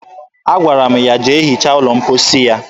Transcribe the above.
Agwara m ya jee hichaa ụlọ mposi ya